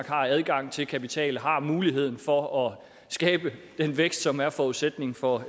har adgang til kapital har muligheden for at skabe den vækst som er forudsætningen for